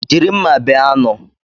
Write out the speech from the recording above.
Jiri mma bee anụ.